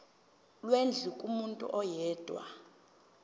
lwendlu kumuntu oyedwa